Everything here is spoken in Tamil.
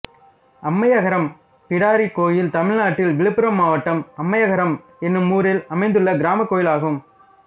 அம்மையகரம் பிடாரி கோயில் தமிழ்நாட்டில் விழுப்புரம் மாவட்டம் அம்மையகரம் என்னும் ஊரில் அமைந்துள்ள கிராமக் கோயிலாகும்